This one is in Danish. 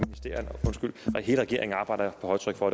hele regeringen arbejder på højtryk for